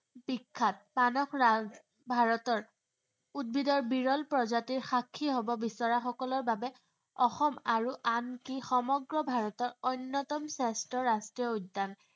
বিখ্যাত। মানস ৰাজ ভাৰতৰ, উদ্ভিদৰ বিৰল প্ৰজাতিৰ সাক্ষী হব বিচৰা সকলৰ বাবে অসম আৰু আনকি সমগ্ৰ ভাৰতৰ অন্য়তম শ্ৰেষ্ঠ ৰাষ্ট্ৰীয় উদ্য়ান